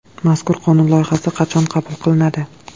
Mazkur qonun loyihasi qachon qabul qilinadi?